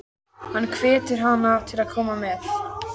Hann hvetur hana til að koma með.